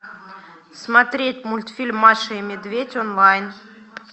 смотреть мультфильм маша и медведь онлайн